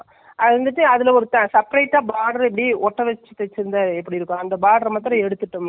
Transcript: பத்து நாள் பதினைஞ்சி நாள் ஆச்சி, அதுல எங்க தைக்குறது.ஒரு பொம்பள என்னயென்னமோ மாதிரி எல்லாம் தைக்குறன்னு சொல்லி.